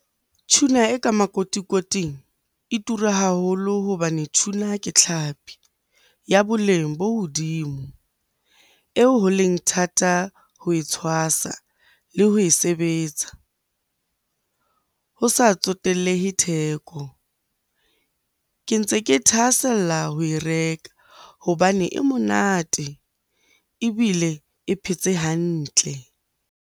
Tuna e ka makotikoting e tura haholo hobane tuna ke tlhapi ya boleng bo hodimo eo ho leng thata ho e tshwasa le ho e sebetsa ho sa tsotellehe theko. Ke ntse ke thahasella ho e reka hobane e monate ebile e phetse hantle.